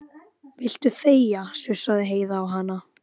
Viltu þegja, sussaði Heiða á hana.